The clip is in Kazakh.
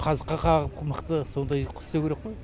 қазыққа қағып мықты сондай қып істеу керек қой